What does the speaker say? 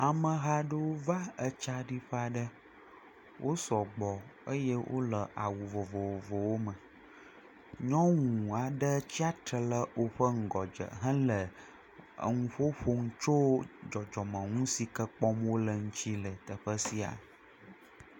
Ameha aɖewo va etsaɖiƒe aɖe wosɔgbɔ eye wole awu vovovowo me, nyɔnu aɖe tsi atsitre ɖe wo ŋgɔ dze hele nu ƒom na wo tso dzɔdzɔmenu siwo kpɔm wole la ŋuti le teƒe sia.